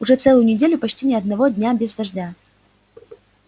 уже целую неделю почти ни одного дня без дождя